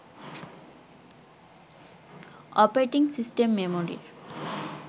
operating system মেমরির